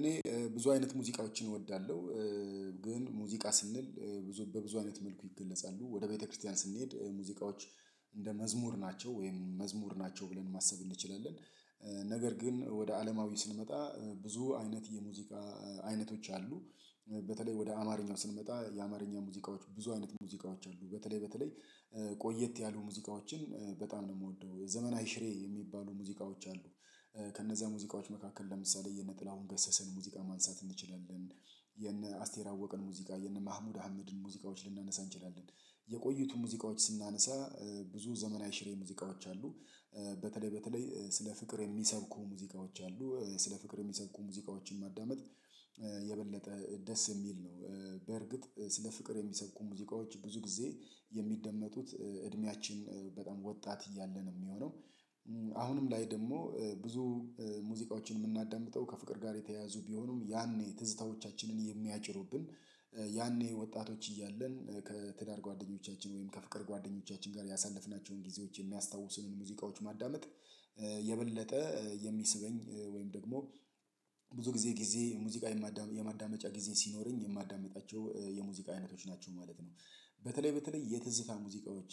እኔ ብዙ አይነት ሙዚቃዎችን እወዳለሁ። ግን ሙዚቃ ስንል ብዙ በብዙ አይነት መልኩ ይገለጻሉ ወደ ቤተክርስቲያን ስንሄድ ሙዚቃዎች እንደ መዝሙር ናቸው ወይም መዝሙር ናቸው ብለን ማሰብ እንችላለን። ነገር ግን ወደ አለማዊ ስንመጣ ብዙ አይነት የሙዚቃ አይነቶች አሉ በተለይ ወደ አማርኛው ስንመጣ የአማርኛ ሙዚቃዎች ብዙ አይነት ሙዚቃዎች አሉ በተለይ በተለይ ቆየት ያሉ ሙዚቃዎችን በጣም ነው የምወደው የዘመናዊ አይሽሬ የሚባሉ ሙዚቃዎች አሉ ከነዛ ሙዚቃዎች መካከል ለምሳሌ የነጥላውን ገሰስን ሙዚቃ ማንሳት እንችላልን የነ አስቴር አወቅን ሙዚቃ፣ የነ መሃሙድ አህመድን ሙዚቃዎች ልናነሳ እንችላለን። የቆይቱን ሙዚቃዎች ስናነሳ ብዙ ዘመናዊ አሽሬ ሙዚቃዎች አሉ። በተለይ በተለይ ስለ ፍቅር የሚሰብኩ ሙዚቃዎች አሉ ስለ ፍቅር የሚሰጡ ሙዚቃዎችን ማዳመጥ የበለጠ ደስ የሚል ነው በርግጥ ስለ ፍቅር የሚሰብኩ ሙዚቃዎች ብዙ ጊዜ የሚደመጡት እድሜያችን በጣም ወጣት እያለ ነው የሚሆነው አሁንም ላይ ደግሞ ብዙ ሙዚቃዎችን የምናዳምጠው ከፍቅር ጋር የተያያዙ ቢሆኑም ያኔ ትዝታዎቻችንን የሚያጭሩብን ያኔ ወጣቶች እያለን ከትዳር ጓደኞቻችን ወይም ከፍቅር ጓደኞቻችን ጋር ያሳለፍናቸውን ጊዜዎች የሚያስታውሱንን ሙዚቃዎች ማዳመጥ የበለጠ የሚስበኝ ወይም ደግሞ ብዙ ጊዜ ጊዜ ሙዚቃ የማዳመጫ ጊዜ ሲኖረኝ የማዳምጣቸው የሙዚቃ አይነቶች ናቸው ማለት ነው። በተለይ በተለይ የትዝታ ሙዚቃዎች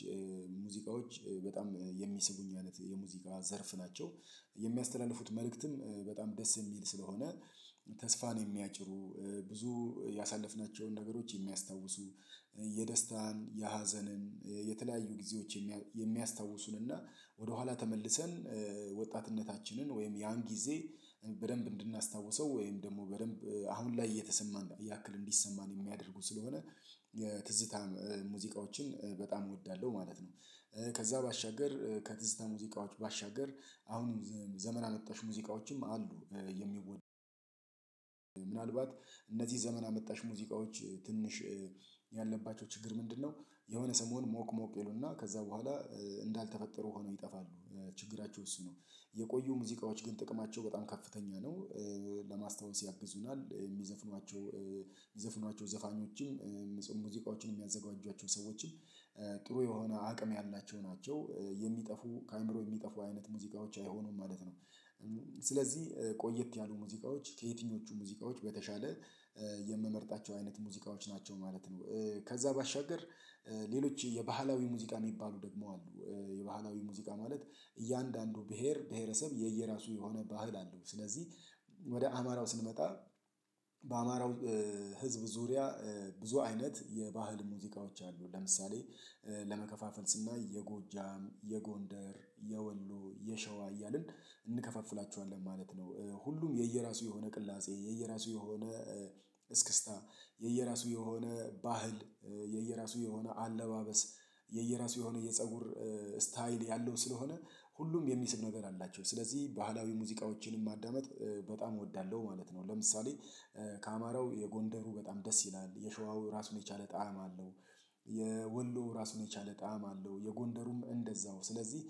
ሙዚቃዎች በጣም የሚስቡኝ አይነት የሙዚቃ ዘርፍ ናቸው። የሚያስተላልፉት መልእክትም በጣም ደስ የሚል ስለሆነ ተስፋ ነው የሚያጭሩ፣ ብዙ ያሳለፍናቸውን ነገሮች የሚያስታውሱ፣ የደስታን፣ የሀዘንን፣ የተለያዩ ጊዜዎች የሚያስታውሱን እና ወደኋላ ተመልሰን ወጣትነታችንን ወይም ያን ጊዜ በደንብ እንድናስታውሰው ወይም ደግሞ በደንብ አሁን ላይ እየተሰማን ያክል እንዲሰማን የሚያደርጉ ስለሆነ የትዝታ ሙዚቃዎችን በጣም እወዳለሁ ማለት ነው። ከዛ ባሻገር ከትዝታ ሙዚቃዎች ባሻገር አሁን ዘመን አጣሽ ሙዚቃዎችም አሉ የሚወደዱ ምናልባት እነዚህ ዘመን አመጣሽ ሙዚቃዎች ትንሽ ያለባቸው ችግር ምንድነው የሆነ ሰሞን ሞቅ ሞቅ ይሉና ከዛ በኋላ እንዳልተፈጠሩ ሆነው ይጠፋሉ ችግራቸው እሱ ነው። የቆዩ ሙዚቃዎች ግን ጥቅማቸው በጣም ከፍተኛ ነው። ለማስታወስ ያግዙናል የሚዘፍኗቸው የሚዘፍኗቸው ዘፋኞችን ጽሁፍ ሙዚቃዎችን የሚያዘጋጁዋቸው ሰዎችም ጥሩ የሆነ አቅም ያላቸው ናቸው የሚጠፉ ከአእምሮ የሚጠፉ አይነት ሙዚቃዎች አይሆኑም ማለት ነው። ስለዚህ ቆየት ያሉ ሙዚቃዎች ከየትኞቹ ሙዚቃዎች በተሻለ የምመርጣቸው አይነት ሙዚቃዎች ናቸው ማለት ነው። ከዛ ባሻገር ሌሎች የባህላዊ ሙዚቃ የሚባሉ ደግሞ አሉ የባህላዊ ሙዚቃ ማለት እያንዳንዱ ብሄር ብሄረሰብ የየራሱ የሆነ ባህል አለው ስለዚህ ወደ አማራው ስንመጣ በአማራው ህዝብ ዙሪያ ብዙ አይነት የባህል ሙዚቃዎች አሉ ለምሳሌ ለመከፋፈል ስናይ የጎጃም የጎንደር የወሎ የሸዋ እያልን እንከፋፍላችኋለን ማለት ነው። ሁሉም የየራሱ የሆነ ቅላጼ የየራሱ የሆነ እስክስታ፣ የየራሱ የሆነ ባህል፣ የየራሱ የሆነ አለባበስ፣ የየራሱ የሆነ የፀጉር ስታይል፣ ያለው ስለሆነ ሁሉም የሚስብ ነገር አላቸው። ስለዚህ ባህላዊ ሙዚቃዎችንም ማዳመጥ በጣም እወዳለሁ ማለት ነው፣ ለምሳሌ የጎንደሩ በጣም ደስ ይላል፣ የሸዋው ራሱን የቻለ ጣዕም አለው፣ የወሎ ራሱን የቻለ ጣዕም አለው፣ የጎንደሩም እንደዛው ስለዚህ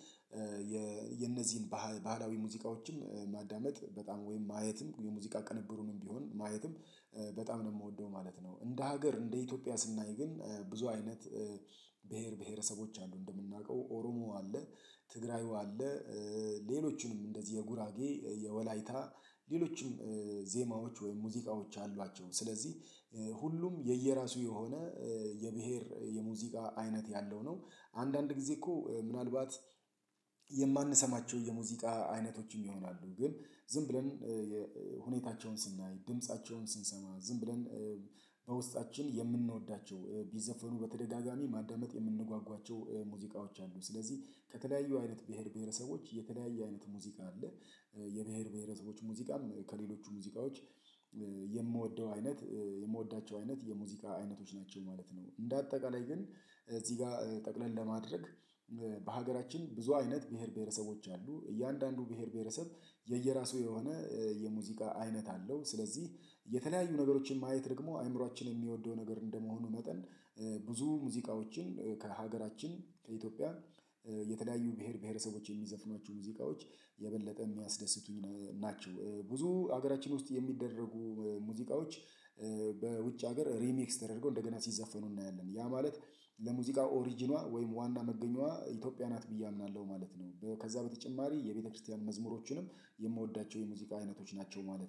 የነዚህን ባህላዊ ሙዚቃዎችም ማዳመጥ በጣም ወይም ማየትም የሙዚቃ ቅንብሩንም ቢሆን ማየትም በጣም ነው የምወደው ማለት ነው እንደ ሀገር እንደ ኢትዮጵያ ስናይ ግን ብዙ አይነት ብሄር ብሄረሰቦች አሉ እንደምናውቀው ኦሮሞ አለ፣ ትግራዩ አለ፣ ሌሎችንም እንደዚህ የጉራጌ፣ የወላይታ ሌሎችንም ዜማዎች ወይም ሙዚቃዎች አሏቸው ስለዚህ ሁሉም የየራሱ የሆነ የብሄር የሙዚቃ አይነት ያለው ነው። አንዳንድ ጊዜ እኮ ምናልባት የማንሰማቸው የሙዚቃ አይነቶችም ይሆናሉ፣ ግን ዝም ብለን ሁኔታቸውን ስናይ፣ ድምፃቸውን ስንሰማ ዝም ብለን በውስጣችን የምንወዳቸው ቢዘፈኑ በተደጋጋሚ ማዳመጥ የምንጓጓቸው ሙዚቃዎች አሉ ስለዚህ ከተለያዩ አይነት ብሄር ብሄረሰቦች የተለያየ አይነት ሙዚቃ አለ። የብሄር ብሄረሰቦች ሙዚቃም ከሌሎቹ ሙዚቃዎች የምወደው አይነት የምወዳቸው አይነት የሙዚቃ አይነቶች ናቸው ማለት ነው። እንደ አጠቃላይ ግን እዚህ ጋር ጠቅለል ለማድረግ በሀገራችን ብዙ አይነት ብሄር ብሄረሰቦች አሉ እያንዳንዱ ብሄር ብሄረሰብ የየራሱ የሆነ የሙዚቃ አይነት አለው ስለዚህ የተለያዩ ነገሮችን ማየት ደግሞ አእምሮአችን የሚወደው ነገር እንደመሆኑ መጠን ብዙ ሙዚቃዎችን ከሀገራችን ከኢትዮጵያ የተዳዩ ብሄር ብሄረሰቦች የሚዘፍኗቸው ሙዚቃዎች የበለጠ የሚያስደስቱኝ ናቸው። ብዙ ሀገራችን ውስጥ የሚደረጉ ሙዚቃዎች በውጭ ሀገር ሪሚክስ ተደርጎ እንደገና ሲዘፈኑ እናያለን ያ ማለት ለሙዚቃ ኦሪጅኗ ወይም ዋና መገኛዋ ኢትዮጵያ ናት ብዬ አምናለሁ ማለት ነው። ከዛ በተጨማሪ የቤተክርስቲያን መዝሙሮችንም የምወዳቸው የሙዚቃ አይነቶች ናቸው ማለት ነው።